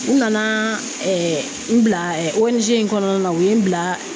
U nana n bila ONG in kɔnɔna na u ye n bila